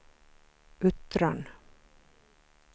Uttran